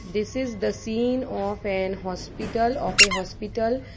this is the scene of an hospital of a hospital.